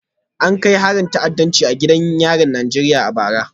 An kai harin ta'addanci a gidan yarin Najeriya a bara